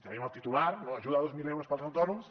tenim el titular no ajuda de dos mil euros per als autònoms